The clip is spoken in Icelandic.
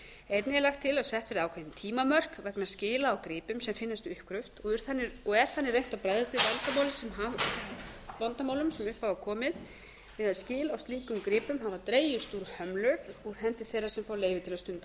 einnig er lagt til að sett verði ákveðin tímamörk vegna skila á gripum sem finnast við uppgröft og er þannig reynt að bregðast við vandamálum sem upp hafa komið þegar skil á slíkum gripum hafa dregist úr hömlu úr hendi þeirra sem fá leyfi til að stunda